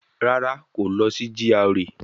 Rárá, kò lọ sí GRA